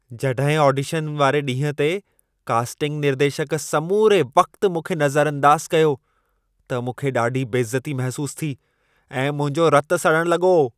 जॾहिं ऑडिशन वारे ॾींहुं ते कास्टिंग निर्देशक समूरे वक़्त मूंखे नज़रअंदाज़ कयो, त मूंखे ॾाढी बेइज़ती महिसूसु थी ऐं मुंहिंजो रतु सड़णु लॻो।